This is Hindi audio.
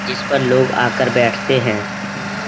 जिसपर लोग आकर बैठते हैं।